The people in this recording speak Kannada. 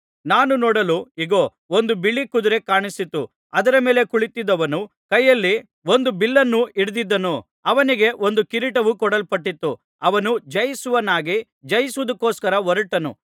ನಾನು ನೋಡಲು ಇಗೋ ಒಂದು ಬಿಳಿ ಕುದುರೆ ಕಾಣಿಸಿತು ಅದರ ಮೇಲೆ ಕುಳಿತಿದ್ದವನು ಕೈಯಲ್ಲಿ ಒಂದು ಬಿಲ್ಲನ್ನು ಹಿಡಿದಿದ್ದನು ಅವನಿಗೆ ಒಂದು ಕಿರೀಟವು ಕೊಡಲ್ಪಟ್ಟಿತು ಅವನು ಜಯಿಸುವವನಾಗಿ ಜಯಿಸುವುದಕ್ಕೋಸ್ಕರ ಹೊರಟನು